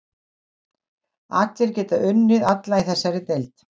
Allir geta unnið alla í þessari deild.